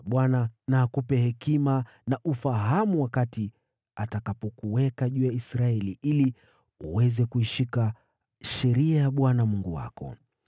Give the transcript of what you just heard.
Bwana na akupe hekima na ufahamu wakati atakuweka juu ya Israeli, ili uweze kuishika sheria ya Bwana Mungu wako.